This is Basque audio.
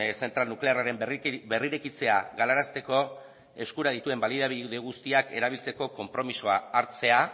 zentral nuklearraren berrirekitzea galarazteko eskura dituen baliabide guztiak erabiltzeko konpromisoa hartzea